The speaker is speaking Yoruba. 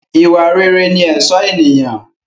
Ìwà rere ní ẹ̀sọ́ ènìyàn